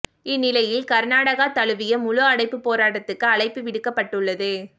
இந்த நிலையில் கர்நாடகா தழுவிய முழு அடைப்புப் போராட்டத்துக்கு அழைப்பு விடுக்கப்பட்டுள்ளது